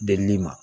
Delili ma